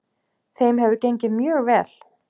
Þeim hefur gengið mjög vel.